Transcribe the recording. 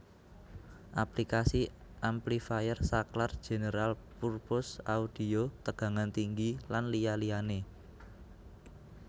Aplikasi Amplifier Saklar General Purpose Audio Tegangan Tinggi lan liya liyane